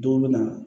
Dɔw bɛ na